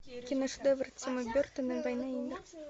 киношедевр тима бертона война и мир